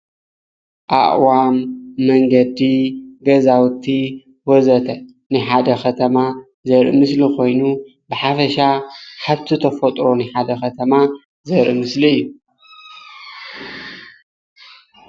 ኣእዋም መንገዲ ገዛውቲ ወዘተ ናይ ሓደ ከተማ ዘርኢ ምስሊ ኮይኑ ብሓፈሻ ሓድጊ ተፈጥሮ ናይ ሓደ ከተማ ዘርኢ ምስሊ እዩ፡፡